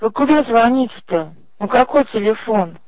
тог куда звонить то на какой телефон